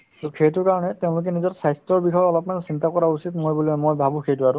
to সেইটোৰ কাৰণে তেওঁলোকে নিজৰ স্বাস্থ্যৰ বিষয়ে অলপমান চিন্তা কৰা উচিত মই বোলে মই ভাবো সেইটো আৰু